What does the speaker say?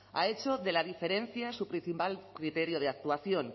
ha hecho de la diferencia su principal criterio de actuación